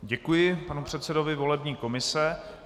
Děkuji panu předsedovi volební komise.